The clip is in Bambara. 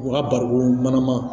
U ka barikon mana